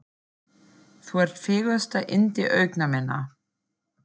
Þú ert fegursta yndi augna minna.